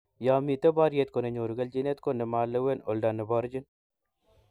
ya mito boriet ko ne nyoru keljinet ko ne ma lewen oldo ne borchini